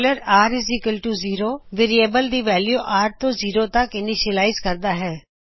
r variable ਦੀ value r ਤੋਂ zero ਤਕ ੲਨੀਸ਼ਿਯਲਾਇਜ਼ ਕਰਦਾ ਹੈ